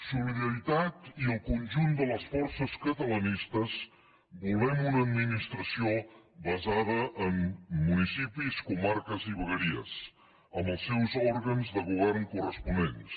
solidaritat i el conjunt de les forces catalanistes volem una administració basada en municipis comarques i vegueries amb els seus òrgans de govern corresponents